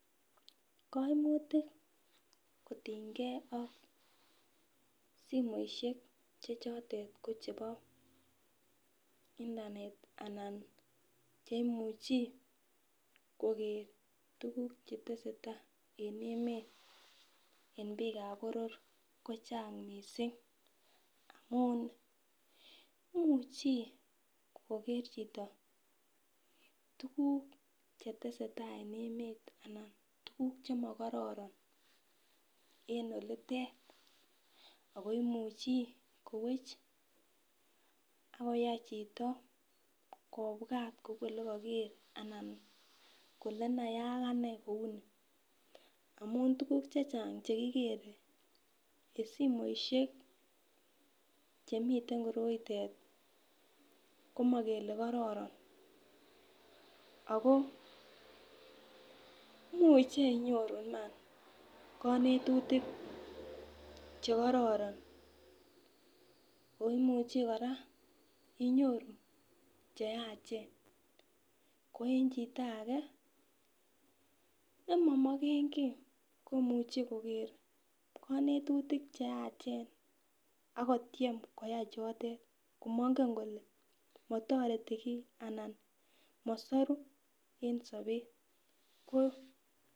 Kaimutik kotingei ak simoishek chechotet ko chebo internet anan cheimuchi koker tukuk chetese tai en emet en biikab boror kochang' mising' amun imuchi koker chito tukuk chetese tai en emet anan tukuk chemakororon en olitet oko imuchi kowech akoyai chito kobwat ole kaiker anan kole nayai akane kou ni amun tukuk chechang' chekikere en simoishek chemiten koroitet komakele kororon ako muchei inyoru Iman kanetutik chekororon ako imuchi kora inyoru cheyachen ko en chito age nemamokenkii komuchi koker kanetutik cheyachen akotyem koyai chotet komang'em kole matoreti kii anan masoru en sobet ko